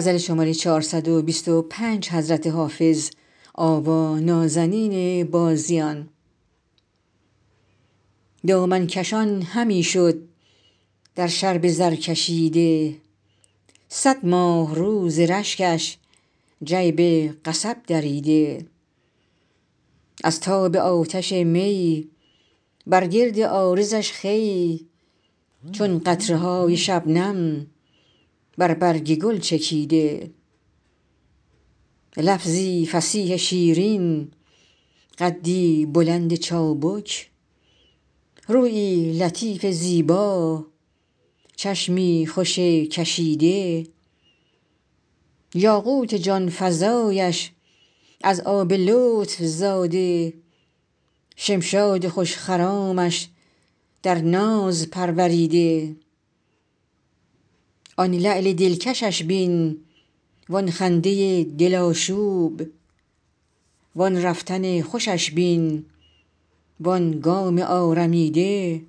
دامن کشان همی شد در شرب زرکشیده صد ماهرو ز رشکش جیب قصب دریده از تاب آتش می بر گرد عارضش خوی چون قطره های شبنم بر برگ گل چکیده لفظی فصیح شیرین قدی بلند چابک رویی لطیف زیبا چشمی خوش کشیده یاقوت جان فزایش از آب لطف زاده شمشاد خوش خرامش در ناز پروریده آن لعل دلکشش بین وآن خنده دل آشوب وآن رفتن خوشش بین وآن گام آرمیده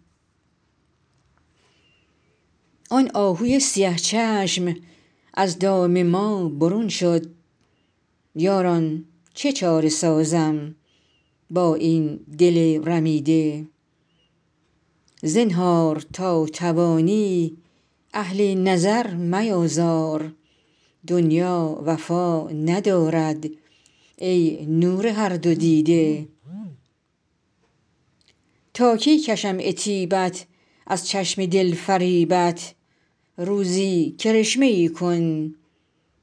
آن آهوی سیه چشم از دام ما برون شد یاران چه چاره سازم با این دل رمیده زنهار تا توانی اهل نظر میآزار دنیا وفا ندارد ای نور هر دو دیده تا کی کشم عتیبت از چشم دل فریبت روزی کرشمه ای کن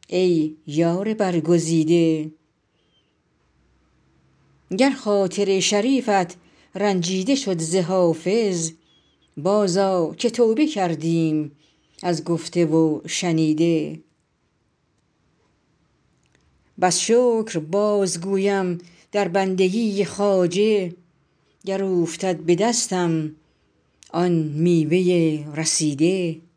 ای یار برگزیده گر خاطر شریفت رنجیده شد ز حافظ بازآ که توبه کردیم از گفته و شنیده بس شکر بازگویم در بندگی خواجه گر اوفتد به دستم آن میوه رسیده